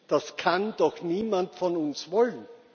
Das kann doch niemand von uns wollen.